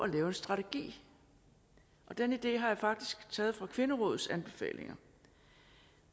lave en strategi og den idé har jeg faktisk taget fra kvinderådets anbefalinger